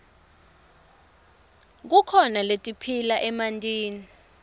kukhona letiphila emantini